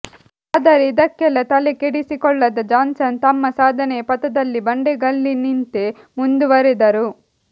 ಆದರೆ ಇದಕ್ಕೆಲ್ಲಾ ತಲೆ ಕೆಡಿಸಿಕೊಳ್ಳದ ಜಾನ್ಸನ್ ತಮ್ಮ ಸಾಧನೆಯ ಪಥದಲ್ಲಿ ಬಂಡೆಗಲ್ಲಿನಿಂತೆ ಮುಂದುವರೆದರು